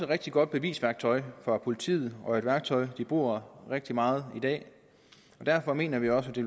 rigtig godt bevisværktøj for politiet og et værktøj de bruger rigtig meget i dag og derfor mener vi også at det